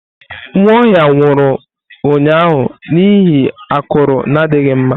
Nwaohia nwuru ụnyahụ n'ihi akụru na adighi mma.